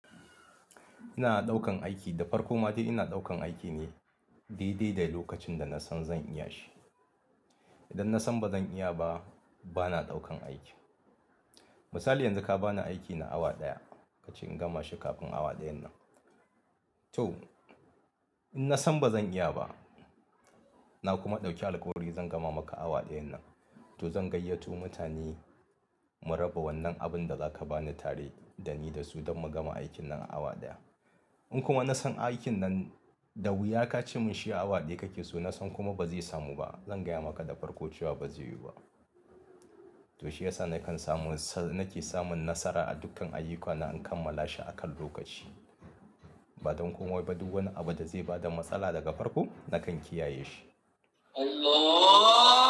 Ina daukan aiki da farko ma dai ina daukan aiki ne dai dai da lokacin da nasan zan iya shi. Idan nasan bazan iya ba, bana daukan aiki. Misali yanzu ka bani aiki na awa ɗaya kace in gama shi kafin awa ɗayan nan. To in nasan bazan iya ba na kuma dauki alƙhuri zan gama maka awa ɗayan nan, to zan gayyato mutani mu raba wannan abin da zaka bani tare dani da su don mu gama aikin nan a awa ɗaya. In kuma nasan aikin nan da wuya kace mun shi awa ɗaya kakeso nasan kuma bazai samu ba, zan gaya maka da farko cewa bazai yiwu ba. To shi yasa nakan samu, nake samun nasara a dukkan ayyukana in kammala shi akan lokaci. Ba don komai ba duk wani abin da zai bada matsala daga farko nakan kiyaye shi.